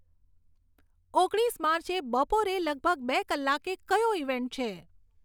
ઓગણીસ માર્ચે બપોરે લગભગ બે કલાકે કયો ઇવેન્ટ છે